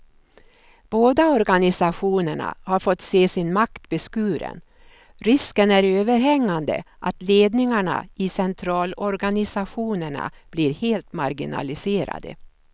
Båda organisationerna har fått se sin makt beskuren, risken är överhängande att ledningarna i centralorganisationerna blir helt marginaliserade.